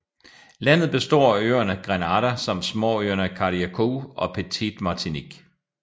Landet består af øerne Grenada samt småøerne Carriacou og Petite Martinique